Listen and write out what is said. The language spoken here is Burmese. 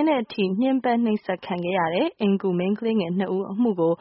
င်းတဲ့အထိ ညှင်းပန်းနှိပ်စက်ခံခဲ့ရတဲ့ အိမ်အကူမိန်းကလေးငယ်၂ဦးအမှုကို